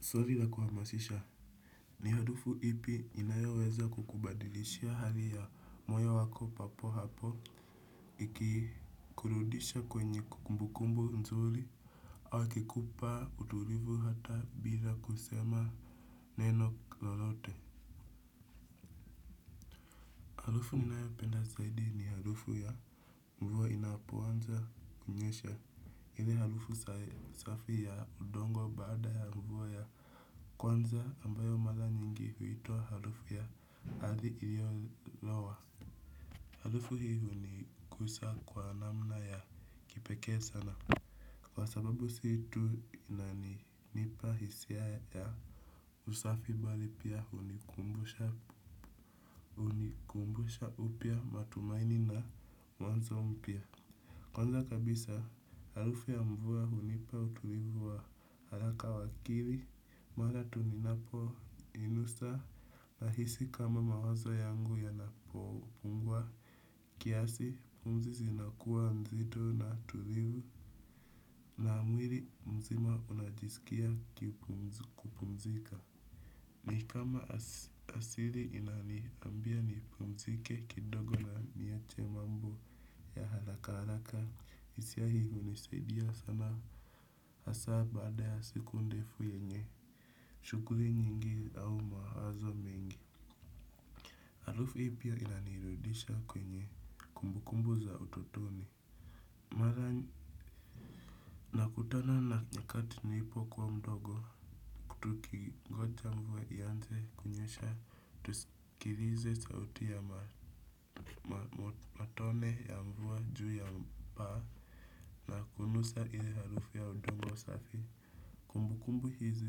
Swari la kuhamasisha ni harufu ipi inayoweza kukubadilishia hali ya moyo wako papo hapo ikikurudisha kwenye kumbukumbu nzuli au ikikupa utulivu hata bila kusema neno lolote harufu ninayopenda zaidi ni harufu ya mvua inapoanza kunyesha ile harufu safi ya udongo baada ya mvua ya kwanza ambayo mara nyingi huitwa harufu ya ardhi iliyolowa. Harufu hii hunikusa kwa namna ya kipekee sana. Kwa sababu si tu inaninipa hisia ya usafi bali pia hunikumbusha upya matumaini na mwanzo mpya. Kwanza kabisa harufu ya mvua hunipa utulivu wa haraka wa akili mara tu ninapo inusa nahisi kama mawazo yangu yanapopungua. Kiasi pumzi zinakuwa nzito na tulivu. Na mwiri mzima unajisikia kupumzika. Ni kama asiri inaniambia nipumzike kidogo na niache mambo ya haraka haraka hisia hii hunisaidia sana hasa baada ya siku ndefu yenye shughuri nyingi au mawazo mengi. Harufu hii pia inanirudisha kwenye kumbukumbu za utotoni. Mara nakutana na nyakati nilipokuwa mdogo ku tukingoja mvua ianze kunyesha tuskilize sauti ya matone ya mvua juu ya paa na kunusa ile harufu ya udongo usafi. Kumbukumbu hizi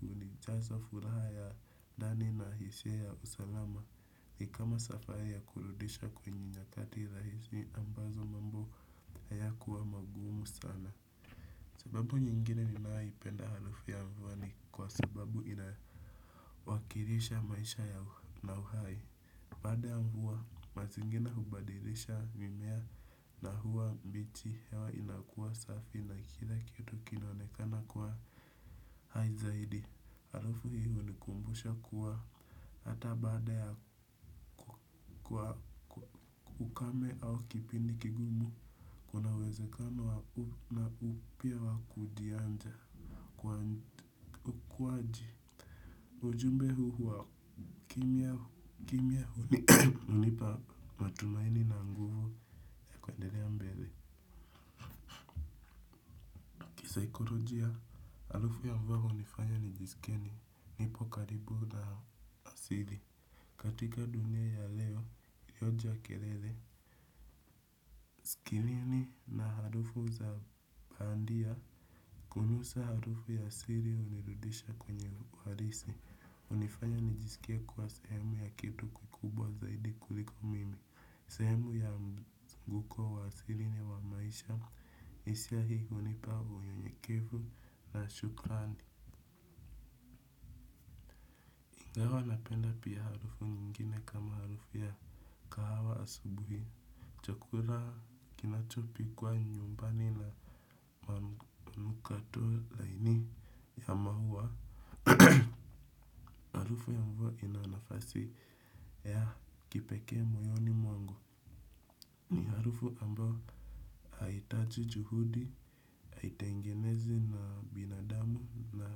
hunijaza furaha ya ndani na hisia ya usalama ni kama safa ya kurudisha kwenye nyakati rahisi ambazo mambo haya huwa magumu sana. Sababu nyingine ninayoipenda harufu ya mvua ni kwa sababu inawakirisha maisha ya na uhai. Baada ya mvua, mazingina hubadirisha mimea na huwa mbichi hewa inakua safi na kila kitu kinaonekana kwa hai zaidi. Harufu hii hunikumbusha kuwa hata baada ya kwa ukame au kipindi kigumu, kuna uwezekano na upya wakudianja kuwaji. Ujumbe huu huwa kimya huu ni hunipa matumaini na nguvu kuenderea mbele. Saikorojia harufu ambavyo hunifanya nijisikie nipo karibu na asili. Katika dunia ya leo, yoja ya kerele. Kilini na harufu za bandia kunusa harufu ya asili hunirudisha kwenye uharisi. Hunifanya nijisikie kwa sehemu ya kitu kukubwa zaidi kuliko mimi. Sehemu ya mzunguko wa asiri ni wa maisha hisia hii hunipa unyenyekefu na shukrani. Ingawa napenda pia harufu nyingine kama harufu ya kahawa asubuhi. Chakura kinachopikwa nyumbani na manukato laini ya maua. Harufu ya mvua ina nafasi ya kipekee moyoni mwangu. Ni harufu ambao haitaji juhudi, haitengenezi na binadamu na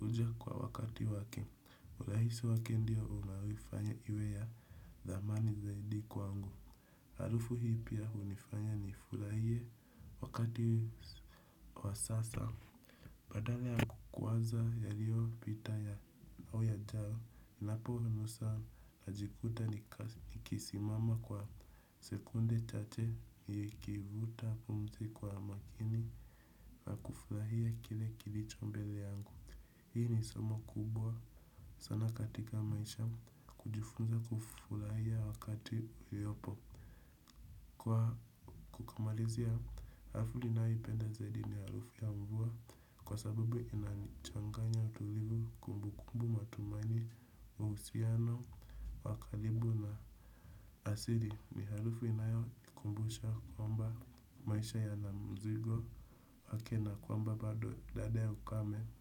huja kwa wakati wake rahisi wake ndio unaoifanya iwe ya thamani zaidi kwangu. Harufu hii pia hunifanya nifulahie wakati wa sasa. Badala ya kuanza yaliyopita au yajayo, ninaponusa najikuta nikisimama kwa sekunde chache nikivuta pumzi kwa makini na kufurahia kile kilicho mbele yangu. Hii ni somo kubwa sana katika maisha kujifunza kufurahia wakati uliopo. Kwa kumalizia harufu naniyoipenda zaidi ni harufu ya mvua kwa sabubu inanichanganya utulivu kumbukumbu matumani uhusiano wa kalibu na asili ni harufu inayokumbusha kwamba maisha yana mzigo wake na kwamba bado dada ya ukame.